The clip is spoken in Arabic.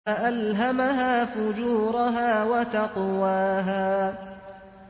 فَأَلْهَمَهَا فُجُورَهَا وَتَقْوَاهَا